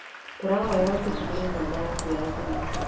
Tũrahoya ututigĩre namba yaku ya thimũ.